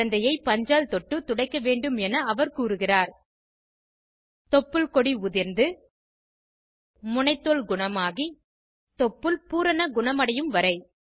குழந்தையை பஞ்சால் தொட்டு துடைக்க வேண்டும் என அவர் சொல்கிறார் தொப்புள் கொடி உதிர்ந்து முனைத்தோல் குணமாகி தொப்புள் பூரண குணமடையும் வரை